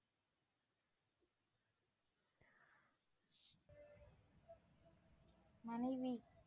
மனைவி